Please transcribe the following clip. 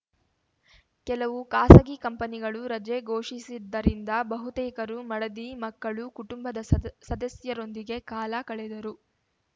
ಕೆಲವು ಖಾಸಗಿ ಕಂಪನಿಗಳು ರಜೆ ಘೋಷಿಸಿದ್ದರಿಂದ ಬಹುತೇಕರು ಮಡದಿ ಮಕ್ಕಳು ಕುಟುಂಬದ ಸದಸ್ ಸದಸ್ಯರೊಂದಿಗೆ ಕಾಲ ಕಳೆದರು